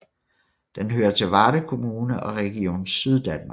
Den hører til Varde Kommune og Region Syddanmark